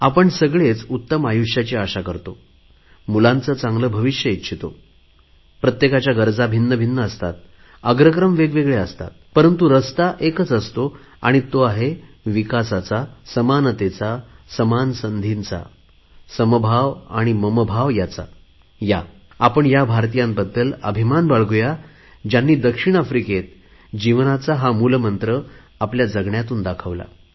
आपण सर्व चांगल्या आयुष्याची आशा करतो मुलांचे चांगले भविष्य इच्छितो प्रत्येकाच्या गरजा भिन्नभिन्न असतात अग्रक्रम वेगवेगळे असतात परंतु रस्ता एकच असतो आणि तो आहे विकासाचा समानतेचा समान संधीचा समभाव ममभाव याचा या आपण ह्या भारतीयांबद्दल अभिमान बाळगू या ज्यांनी दक्षिण आफ्रिकेत जीवनाचा हा मूलमंत्र आपल्या जगण्यातून दाखवला